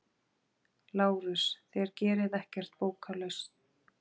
LÁRUS: Þér gerið ekkert bókarlaus!